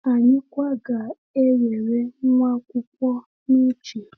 Anyị kwa ga-ewere nwaakwụkwọ n’uche.